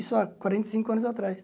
Isso há quarenta e cinco anos atrás.